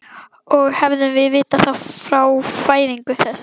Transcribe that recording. Og hefðum vitað það frá fæðingu þess.